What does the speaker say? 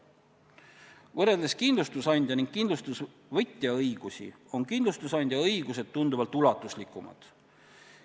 Kui võrrelda kindlustusandja ning kindlustusvõtja õigusi, on kindlustusandja õigused tunduvalt ulatuslikumad.